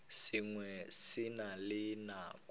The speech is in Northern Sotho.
sengwe se na le nako